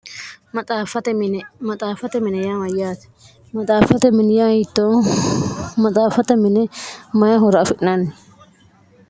maxaaffate mine yaa mayyaati maxafate mini yaa hittoo maxaaffate mine mayi horo afi'naanni.